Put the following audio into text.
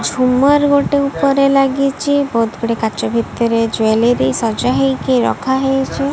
ଝୁମର୍ ଗୋଟେ ଉପରେ ଲାଗିଚି ବହୁତ୍ ଗୁଡେ କାଚ ଭିତରେ ଜ୍ୱେଲେରି ସଜା ହେଇକି ରଖାହେଇଛି।